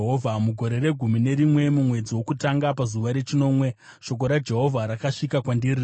Mugore regumi nerimwe, mumwedzi wokutanga pazuva rechinomwe shoko raJehovha rakasvika kwandiri richiti,